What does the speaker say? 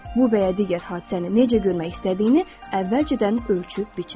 Bu və ya digər hadisəni necə görmək istədiyini əvvəlcədən ölçüb biçin.